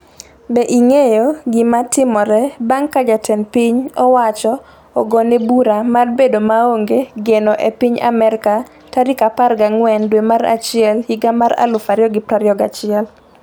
Be ing'eyo gimatimore bang' ka jatend piny owacho ogone bura mar bedo maonge geno e piny Amerka tarik 14 dwe mar achiel higa mar 2021?